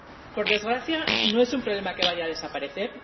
Por desgracia, no es un problema que vaya a desaparecer.